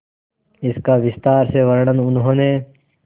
इसका विस्तार से वर्णन उन्होंने